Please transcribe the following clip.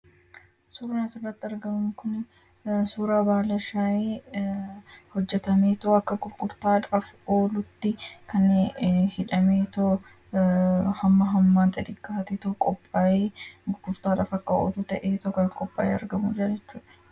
suurraan asirratti argamu kun suuraa baalashaa hojjatameetuu akka gurgurtaadhaaf oluutti kan hidhamee too hamma hammaa xexiqqaatito qophaa'ee gurqurtaadhaaf akka olu ta'ee too qophaa'e argamu jechudha.